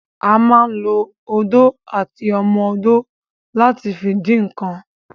A ma ń lo odó àti ọmọ odó láti fi dín ǹǹkan